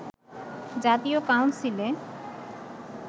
জাতীয় কাউন্সিলে